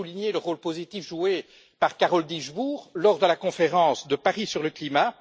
Je tiens à souligner le rôle positif joué par Carole Dieschbourg lors de la conférence de Paris sur le climat.